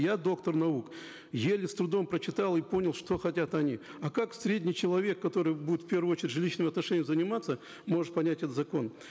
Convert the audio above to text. я доктор наук еле с трудом прочитал и понял что хотят они а как средний человек который будет в первую очередь жилищными отношениями заниматься может понять этот закон